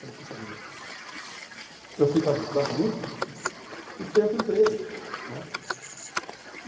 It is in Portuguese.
Falei, poxa vida, eu fico agitando muito e perco o emprego, né?